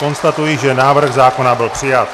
Konstatuji, že návrh zákona byl přijat.